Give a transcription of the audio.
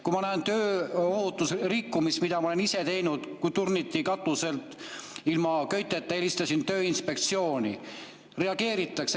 Kui ma näen tööohutuse rikkumist, ma olen ise näinud, kui turniti katusel ilma köiteta, helistasin Tööinspektsiooni, reageeritakse.